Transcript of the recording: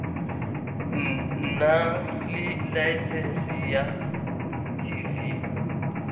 nna le laesense ya tv